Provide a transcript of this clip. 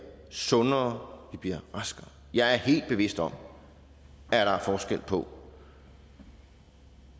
sundere vi bliver raskere jeg er helt bevidst om at der er forskel på